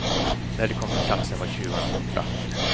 När de kom till platsen var tjuvarna borta.